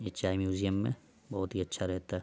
ये चाय म्युजियम में बोहोत ही अच्छा रहता --